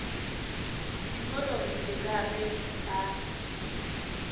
sekolong se ka ge a